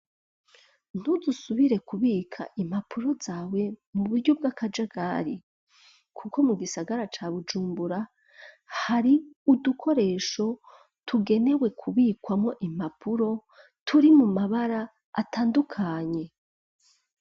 Ntudusubire kubika impapuro zawe mu buryo bw'akaje gari, kuko mu gisagara ca bujumbura hari udukoresho tugenewe kubikwamwo impapuro turi mu mabara atandukanye.